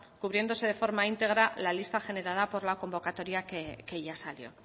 cubriéndose de forma íntegra la lista generada por la convocatoria que ya salió